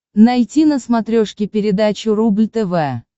найти на смотрешке передачу рубль тв